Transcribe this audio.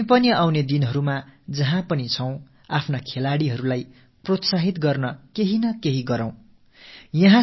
இனிவரும் நாட்களிலும் நாம் எந்தப் பகுதியில் இருந்தாலும் நமது விளையாட்டு வீரர்களுக்கு உற்சாகம் அளிக்கும் வகையில் ஏதாவது ஒரு விஷயத்தில் ஈடுபடுவோம்